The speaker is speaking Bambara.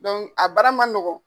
Donku a bara man nɔgɔn.